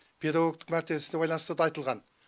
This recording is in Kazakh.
педагогтық мәртесіне байланысты да айтылған